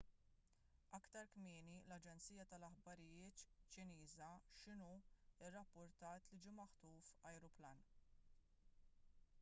aktar kmieni l-aġenzija tal-aħbarijiet ċiniża xinhua rrappurtat li ġie maħtuf ajruplan